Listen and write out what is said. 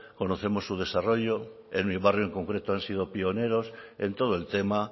conocemos su desarrollo en mi barrio en concreto han sido pioneros en todo el tema